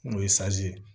N'o ye ye